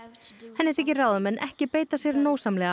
henni þykir ráðamenn ekki beita sér nógsamlega